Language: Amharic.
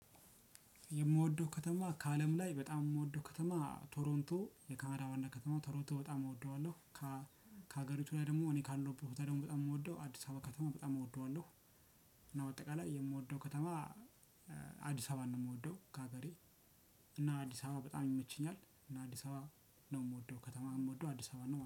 የምወደው ከተማ ከአለም ላይ በጣም የምወደው ከተማ ቶሮንቶ የካናዳ ዋና ከተማ ቶሮንቶ በጣም እወደዋለሁ። ከሀገሪቱ ላይ ደግሞ እኔ ካለው በታ ደግሞ በጣም የምወደው አዲስ አበባ ከተማ በጣም እወደዋለሁ። እና በአጠቃላይ የምወደው ከተማ አዲስ አበባን ነው። የምወደው ከሀገሬ። እና አዲስ አበባ በጣም ይመችኛል። እና አዲስ አበባ ነው የምወደው ከተማ የምወደው አዲስ አበባ ነው